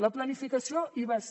la planificació hi va ser